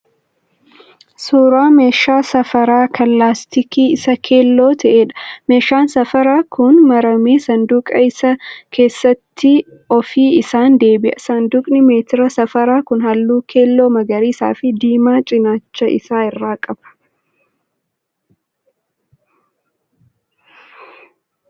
Suuraa meeshaa safaraa kan laastikiin isaa keelloo ta'eedha. Meeshaan safaraa kun maramee saanduqa isaa keessatti ofi isaan deebi'a. Saanduqni meetira safaraa kun halluu keelloo, magariisaa fi diimaa cinaacha isaa irraa qaba.